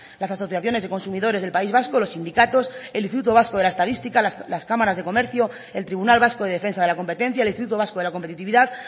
las asociaciones de consumidores del país vasco los sindicatos el instituto vasco de la estadística las cámaras de comercio el tribunal vasco de defensa de la competencia el instituto vasco de la competitividad